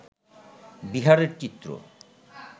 বিহারের চিত্র